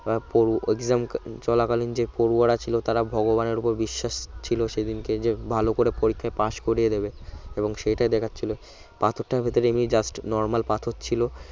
exam চলাকালীন যে পড়ুয়া ছিল তারা ভগবানের উপর বিশ্বাস ছিল সেদিনকে যে ভালো করে পরীক্ষায় পাশ করিয়ে দেবে এবং সেটাই দেখার ছিল পাথর টার ভিতরে just normal পাথর ছিল